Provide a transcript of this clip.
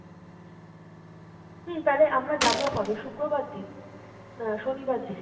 হম তালে আমরা যাবো কবে? শুক্রবার দিন? না শনিবার দিনই?